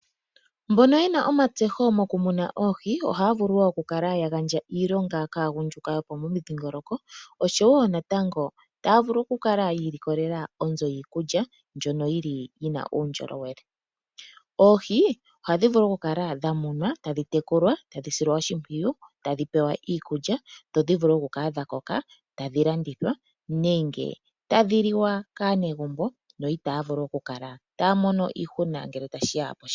Mbono ye na uunongo mokumuna oohi ohaya vulu okugandja iilonga kaagundjuka yomomidhingoloko, oshowo natango taya vulu okukala ilikolela onzo yiikulya mbyono yi na uundjolowele. Oohi ohadhi vulu okukala dha munwa, tadhi tekulwa, tadhi silwa oshimpwiyu, tadhi pewa iikulya dho dhi vule okukala dha koka, tadhi landithwa nenge tadhi liwa kaanegumbo, opo ya kale itaaya mono iihuna ngele tashi ya posheelelwa.